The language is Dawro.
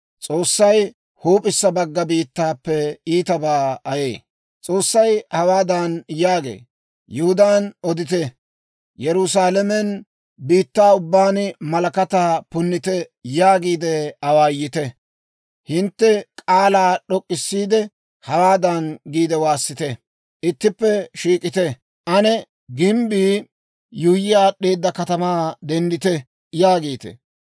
S'oossay hawaadan yaagee; «Yihudaan odite. Yerusaalamen, ‹Biitta ubbaan malakataa punnite!› yaagiide awaayite. Hintte k'aalaa d'ok'k'issiide, hawaadan giide waassite! ‹Ittippe shiik'ite! Ane gimbbii yuuyyi aad'd'eeda katamaa denddite!› yaagite.